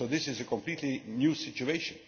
So this is a completely new situation.